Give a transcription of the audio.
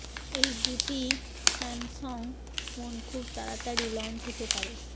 এই দুটি Samsung phone খুব তাড়াতাড়ি লঞ্চ হতে পারে